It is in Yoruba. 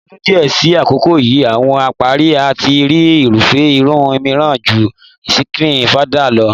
Ní o̩dún díè̩ sí àkókò yìí, àwo̩n apárí a ti ní irúfé̩ irun mìíràn ju skíìnì/fáadán lo̩.